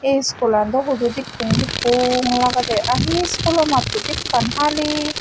ei skoolan daw hudu dekkong dekkong lagede ahi school o matto bekkan hali.